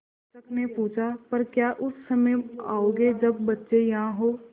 शिक्षक ने पूछा पर क्या उस समय आओगे जब बच्चे यहाँ हों